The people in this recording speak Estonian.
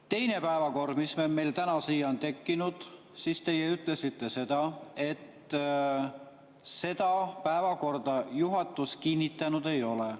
Teise päevakorra kohta, mis meil täna siia on tekkinud, te ütlesite, et seda päevakorda juhatus kinnitanud ei ole.